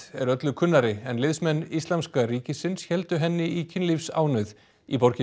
er öllu kunnari en liðsmenn Íslamska ríkisins héldu henni í kynlífsánauð í borginni